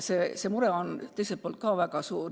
Tegelikkus on selline, et see mure on väga suur.